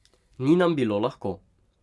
Ni nam bilo lahko.